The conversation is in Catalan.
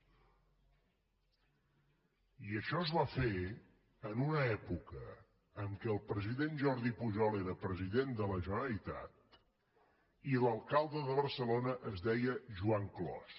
i això es va fer en una època en què el president jordi pujol era president de la generalitat i l’alcalde de barcelona es deia joan clos